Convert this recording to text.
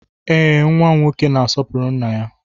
Ee, nwa m nwoke na-asopụrụ nna-ya